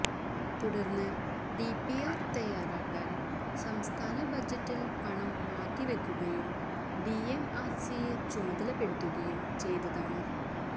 തുടര്ന്ന് ഡിപിആര് തയ്യാറാക്കാ ന് സംസ്ഥാന ബജറ്റില് പണം മാറ്റിവെക്കുകയും ഡിഎംആര്സിയെ ചുമതലപ്പെടുത്തുകയും ചെയ്തതാണ്